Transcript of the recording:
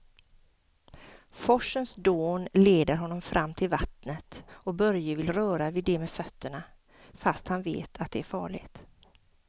Forsens dån leder honom fram till vattnet och Börje vill röra vid det med fötterna, fast han vet att det är farligt.